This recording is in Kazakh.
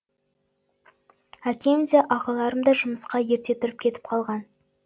әкем де ағаларым да жұмысқа ерте тұрып кетіп қалған